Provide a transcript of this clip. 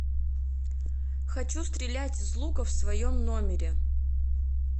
хочу стрелять из лука в своем номере